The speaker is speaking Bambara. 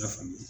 I y'a faamu